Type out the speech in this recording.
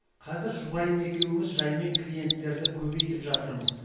қазір жұбайым екеуіміз жаймен клиенттерді көбейтіп жатырмыз